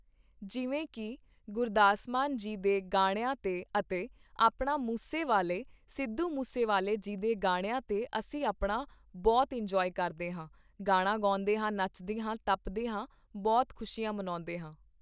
ਜਿਵੇਂ ਕਿ ਗੁਰਦਾਸ ਮਾਨ ਜੀ ਦੇ ਗਾਣਿਆਂ 'ਤੇ ਅਤੇ ਆਪਣਾ ਮੂਸੇ ਵਾਲੇ ਸਿੱਧੂ ਮੂਸੇਵਾਲੇ ਜੀ ਦੇ ਗਾਣਿਆਂ 'ਤੇ ਅਸੀਂ ਆਪਣਾ ਬਹੁਤ ਇੰਨਜੋਆਏ ਕਰਦੇ ਹਾਂ, ਗਾਣਾ ਗਾਉਂਦੇ ਹਾਂ ਨੱਚਦੇ ਹਾਂ, ਟੱਪਦੇ ਹਾਂ ਬਹੁਤ ਖੁਸ਼ੀਆਂ ਮਨਾਉਂਦੇ ਹਾਂ